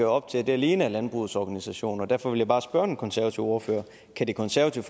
op til at det alene er landbrugets organisationer derfor vil jeg bare spørge den konservative ordfører kan det konservative